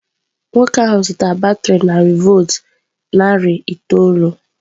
Nwoke ahụ zụtara batrị narị volt narị itoolu.